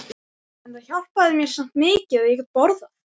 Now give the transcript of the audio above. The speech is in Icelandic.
En það hjálpaði mér samt mikið að ég gat borðað.